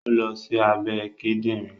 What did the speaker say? ó lọ sí abẹ́ Kídìnrín